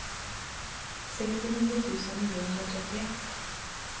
sextionio tusen niohundratrettioett